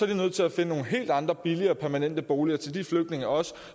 de nødt til at finde nogle helt andre billigere og permanente boliger til de flygtninge også